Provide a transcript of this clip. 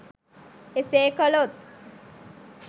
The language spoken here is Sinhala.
එසේ කළොත්